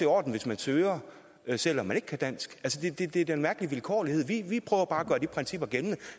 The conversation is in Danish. orden hvis man søger selv om man ikke kan dansk det er da en mærkelig vilkårlighed vi prøver bare at gøre de principper gældende